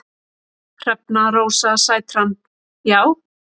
Hrefna Rósa Sætran: Já.